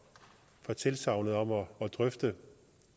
at få drøftet